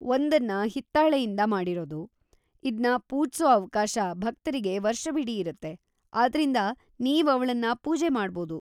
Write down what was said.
ಒಂದನ್ನ ಹಿತ್ತಾಳೆಯಿಂದ ಮಾಡಿರೋದು, ಇದ್ನ ಪೂಜ್ಸೋ ಅವ್ಕಾಶ ಭಕ್ತರಿಗೆ ವರ್ಷವಿಡೀ ಇರತ್ತೆ, ಆದ್ರಿಂದ ನೀವ್‌ ಅವ್ಳನ್ನ ಪೂಜೆ ಮಾಡ್ಬೋದು.